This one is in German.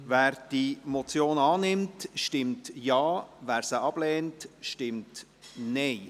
Wer diese Motion annimmt, stimmt Ja, wer sie ablehnt, stimmt Nein.